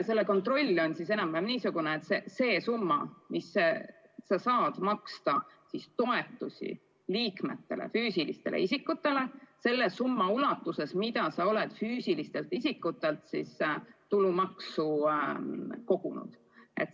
Selle kontroll on enam-vähem niisugune, et summa, mille saab maksta toetusteks füüsilistele isikutele, ei saa olla suurem kui summa, mis on füüsilistelt isikutelt liikmemaksu kogutud.